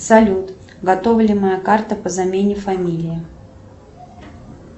салют готова ли моя карта по замене фамилии